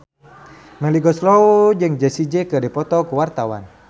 Melly Goeslaw jeung Jessie J keur dipoto ku wartawan